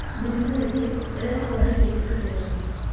Mĩrimũ ĩngĩ ĩrehagwo nĩ irio irĩa tũrĩaga.